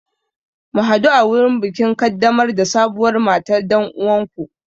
Mu hadu a wurin bikin kaddamar da sabuwar matar dan uwanku.